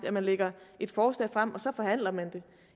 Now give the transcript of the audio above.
at man lægger et forslag frem og så forhandler man det